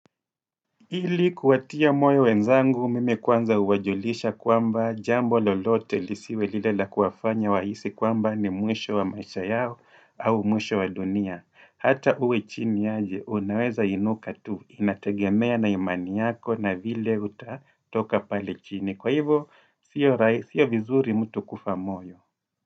Ili kuwatia moyo wenzangu, mimi kwanza huwajulisha kwamba jambo lolote lisiwe lile la kuwafanya wahisi kwamba ni mwisho wa maisha yao au mwisho wa dunia. Ata uwe chini aje, unaweza inuka tu, inategemea na imani yako na vile utatoka pale chini. Kwa hivo, sio vizuri mtu kufa moyo.